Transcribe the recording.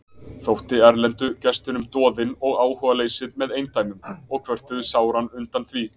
Þótti erlendu gestunum doðinn og áhugaleysið með eindæmum og kvörtuðu sáran undan því.